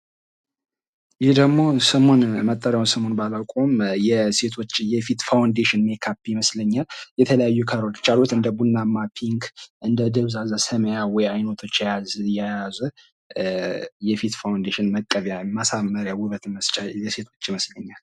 ይህ ደግሞ ስሙን መጠሪያውን ባላውቀውም የሴቶች የፊት ፋውንዴሽን ሜካፕ ይመስለኛል። የተለያዩ ካሮት፣ እንደ ቡናማ፣ ፒንክ፣ እንደ ደብዛዛ ሰማያዊ አይተቶች የያዘ የፊት ፋውንዴሽን መቀቢያ ማሳመሪያ ውበት መስጫ የሴቶች ይመስለኛል።